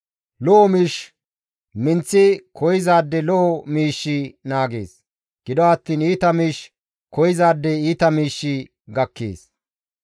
Lo7o miish minththi koyzaade lo7o miishshi naagees; gido attiin iita miish koyzaade iita miishshi gakkees.